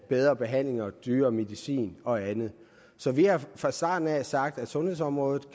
bedre behandlinger dyrere medicin og andet så vi har fra starten af sagt at sundhedsområdet